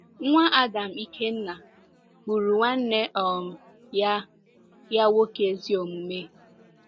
Nwa Adam Ikenna gburu nwanne um ya ya nwoke ezi omume.